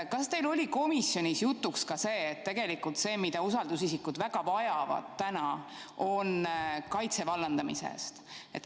Kas teil oli komisjonis jutuks ka see, et tegelikult see, mida usaldusisikud väga vajavad, on kaitse vallandamise eest?